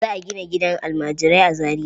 Za a gina gidan almajirai a Zariya.